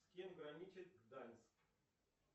с кем граничит гданьск